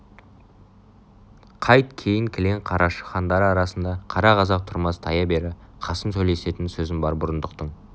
қайт кейін кілең қарашы хандар арасында қара қазақ тұрмас тая бері қасым сөйлесетін сөзім бар бұрындықтың